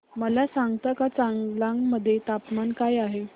मला सांगता का चांगलांग मध्ये तापमान काय आहे